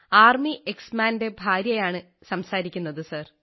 വിമുക്ത ഭടന്റെ ഭാര്യയാണ് സംസാരിക്കുന്നത് സാർ